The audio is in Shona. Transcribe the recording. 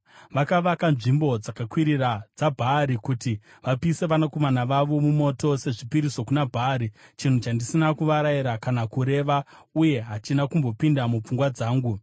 Vakavaka nzvimbo dzakakwirira dzaBhaari kuti vapise vanakomana vavo mumoto sezvipiriso kuna Bhaari, chinhu chandisina kuvarayira kana kureva, uye hachina kumbopinda mupfungwa dzangu.